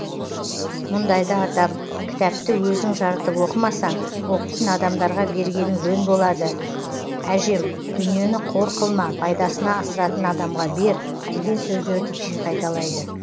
мұндайда атам кітапты өзің жарытып оқымасаң оқитын адамдарға бергенің жөн болады әжем дүниені қор қылма пайдасына асыратын адамға бер деген сөздерді жиі қайталайды